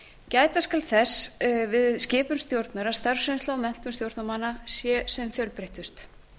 gæta skal þess við skipun stjórnar að starfsreynsla og menntun stjórnarmanna sé sem fjölbreyttust